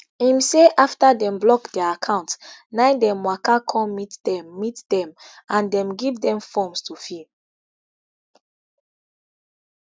im say afta dem block dia accounts na dem waka come meet dem meet dem and dem give dem forms to fill